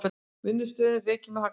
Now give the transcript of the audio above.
Vinnslustöðin rekin með hagnaði